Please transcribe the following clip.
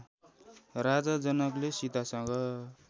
राजा जनकले सीतासँग